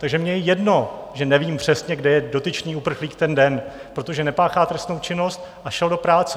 Takže mně je jedno, že nevím přesně, kde je dotyčný uprchlík ten den, protože nepáchá trestnou činnost a šel do práce.